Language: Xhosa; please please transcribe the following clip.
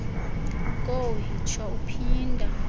kowu yitsho uphinda